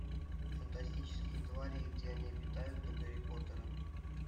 фантастические твари и где они обитают до гарри поттера